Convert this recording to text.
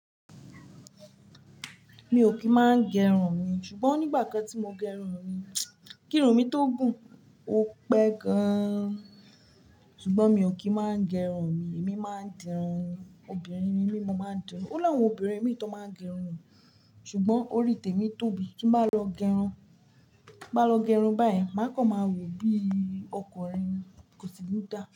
Mi ò kí ń máa gẹrun mi, ṣùgbọ́n nígbà kan tí mo gẹrun mi, kírun mi tó gùn, ó pẹ́ gan-an. Ṣùgbọ́n mi ò kí ń máa gẹrun mi, èmi máa ń dirun ni. Obìnrin ni mí, mo máa ń dirun. Ó láwọn obìnrin mi tó máa ń gẹrun, ṣùgbọ́n orí tèmi tóbi. Tí n bá lọ gẹrun, bá lọ gẹrun báyìí, má kan máa wò bí ọkùnrin ni, kò sì ní dá.